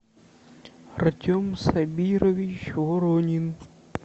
артем сабирович воронин